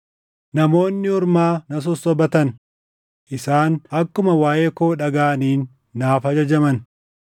namoonni ormaa na sossobatan; isaan akkuma waaʼee koo dhagaʼaniin naaf ajajaman.